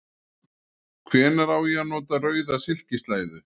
Hvenær á ég að nota rauða silkislæðu?